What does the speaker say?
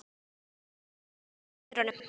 Riffillinn upp við vegg hjá dyrunum.